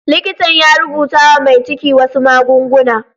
Likitan ya rubuta wa mai ciki wasu magunguna.